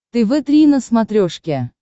тв три на смотрешке